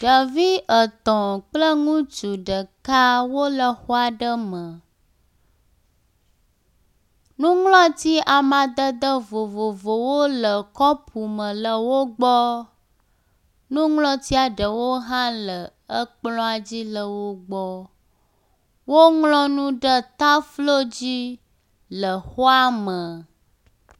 Ɖevi etɔ̃ kple ŋutsu aɖe wole xɔ aɖe me, nuŋlɔti amadede vovovowo le kɔpu me le wo gbɔ, nuŋlɔtia ɖewo hã le ekplɔa dzi le wo gbɔ. Woŋlɔ nu ɖe taflo dzi le xɔa me.